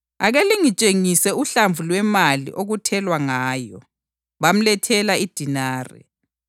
Ake lingitshengise uhlamvu lwemali okuthelwa ngayo.” Bamlethela idenari,